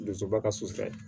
Dusuba ka sutara